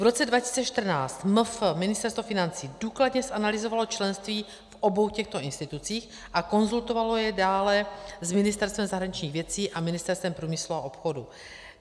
V roce 2014 MF, Ministerstvo financí, důkladně zanalyzovalo členství v obou těchto institucích a konzultovalo jej dále s Ministerstvem zahraničních věcí a Ministerstvem průmyslu a obchodu.